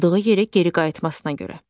Atıldığı yerə geri qayıtmasına görə.